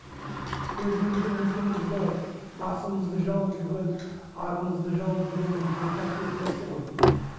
өзіміздің ұлтымызды басымызды жауып жүрген арымызды жауып жүрген бір үлкен қасиетті нәрсе ғой